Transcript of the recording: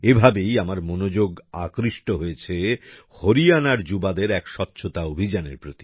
এভাবেই আমার মনোযোগ আকৃষ্ট হয়েছে হরিয়ানার যুবাদের এক স্বচ্ছতা অভিযানের প্রতি